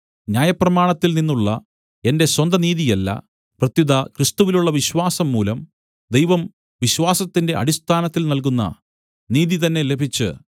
ന്യായപ്രമാണത്തിൽനിന്നുള്ള എന്റെ സ്വന്തനീതിയല്ല പ്രത്യുത ക്രിസ്തുവിലുള്ള വിശ്വാസംമൂലം ദൈവം വിശ്വാസത്തിന്റെ അടിസ്ഥാനത്തിൽ നൽകുന്ന നീതി തന്നെ ലഭിച്ച്